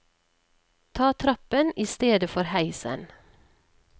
Ta trappen i stedet for heisen.